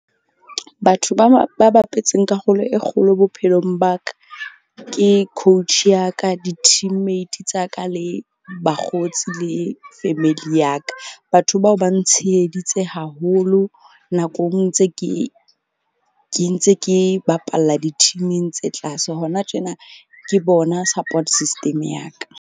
Batho ba bapetseng karolo e kgolo bophelong ba ka ke coach ya ka, di-team mate tsa ka, le bakgotsi le family ya ka. Batho bao ba ntsheheditse haholo nakong ntse ke, ke ntse ke bapalla di-team-ing tse tlase hona tjena ke bona support system ya ka.